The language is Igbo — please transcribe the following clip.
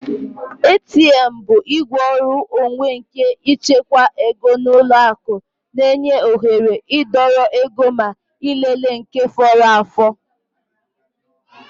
ATM bụ igwe ọrụ onwe nke ịchekwa ego n'ụlọ akụ na-enye oghere idọrọ ego ma ịlele nke fọrọ afọ